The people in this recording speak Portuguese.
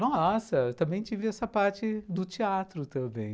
Nossa, também tive essa parte do teatro também.